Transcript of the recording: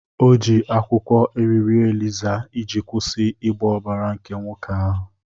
O ji akwụkwọ iriro eliza iji kwụsị ịgba ọbara nke nwoke ahụ.